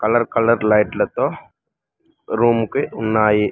Colour colour లైట్లతో room కి ఉన్నాయి.